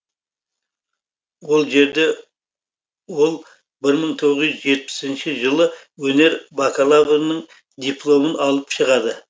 ол жерде ол бір мың тоғыз жүз жетпісінші жылы өнер бакалаврның дипломын алып шығады